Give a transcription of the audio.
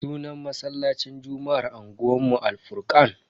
Sunan masallacin juma'ar unguwanmu Al-furkan.